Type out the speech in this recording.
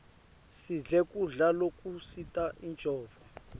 sidle kudla lokusita incondvo